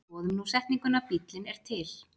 Skoðum nú setninguna Bíllinn er til.